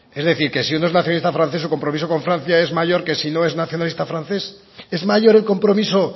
es decir que si uno es nacionalista francés su compromiso con francia es mayor que si no es nacionalista francés es mayor el compromiso